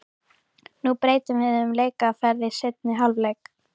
Nú breytum við um leikaðferð í seinni hálfleik.